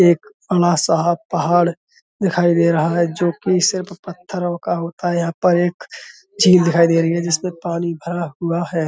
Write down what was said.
एक पहाड़ दिखाई दे रहा है जोकि सिर्फ पत्थरों का होता है यहाँ पर एक झील दिखाई दे रही है जिसमें पानी भरा हुआ है।